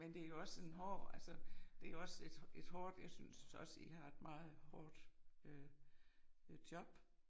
Men det jo også en hård altså det jo også et et hårdt altså jeg jeg synes også I har et meget hårdt øh øh job